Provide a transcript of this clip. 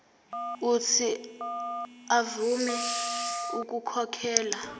uuthi avume ukukhokhela